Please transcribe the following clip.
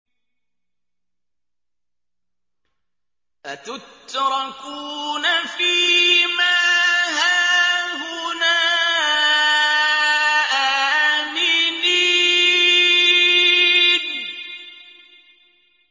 أَتُتْرَكُونَ فِي مَا هَاهُنَا آمِنِينَ